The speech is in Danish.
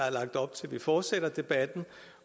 vi fortsætter debatten